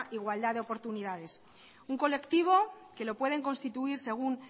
igualdad de oportunidades un colectivo que lo pueden constituir según